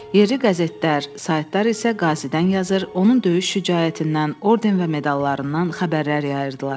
Yerli qəzetlər, saytlar isə qazidən yazır, onun döyüş şücaətindən, orden və medallarından xəbərlər yayırdılar.